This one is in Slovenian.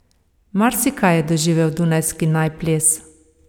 Marsikaj je doživel dunajski naj ples.